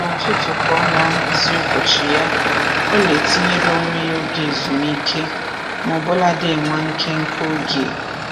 N'ụtụtụ ka ọ na-ahazi ụbọchị ya, ọ na-etinyere onwe ya oge ezumike maọbụladị nwa nkenke oge